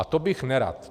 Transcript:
A to bych nerad.